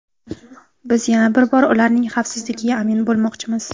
Biz yana bir bor ularning xavfsizligiga amin bo‘lmoqchimiz.